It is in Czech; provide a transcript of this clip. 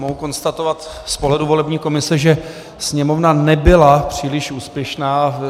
Mohu konstatovat z pohledu volební komise, že Sněmovna nebyla příliš úspěšná.